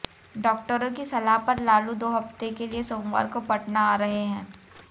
डॉक्टरों की सलाह पर लालू दो हफ्ते के लिए सोमवार को पटना आ रहे हैं